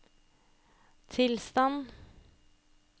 tilstand